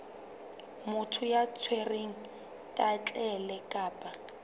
motho ya tshwereng thaetlele kapa